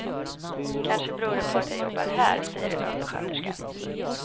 Kanske beror det på att jag jobbar här, säger en undersköterska.